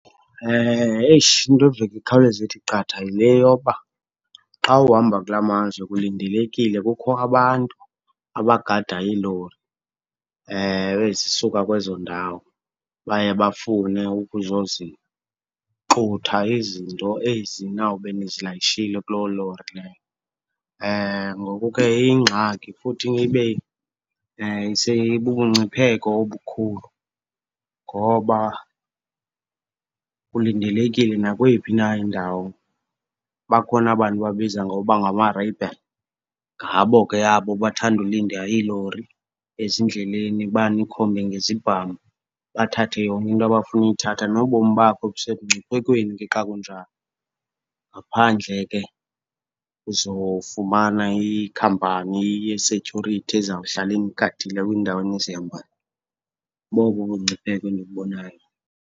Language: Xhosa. Eish! Into eveke ikhawuleze ithi qatha yile yoba xa uhamba kulaa mazwe kulindelekile, kukho abantu abagada iilori ezisuka kwezo ndawo. Baye bafune ukuzozixutha izinto ezi nawube nizilayishile kuloo lori leyo ngoku ke iyingxaki, futhi ibe seyibubungcipheko obukhulu ngoba kulindelekile nakweyiphi na indawo. Bakhona abantu babiza ngokuba ngama-rebel, ngabo ke abo bathanda ulinda iilori ezindleleni banikhombe ngezibhamu bathathe yonke into abafuna uyithatha, nobomi bakho busemngciphekweni ke xa kunjalo. Ngaphandle ke uzofumana ikhampani ye-security ezawuhlala inigadile kwiindawo enizihambayo, bobo ubungcipheko endibubonayo.